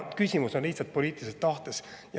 Küsimus on lihtsalt poliitilises tahtes.